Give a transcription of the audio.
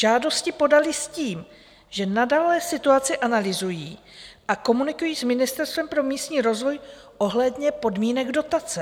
Žádosti podali s tím, že nadále situaci analyzují a komunikují s Ministerstvem pro místní rozvoj ohledně podmínek dotace.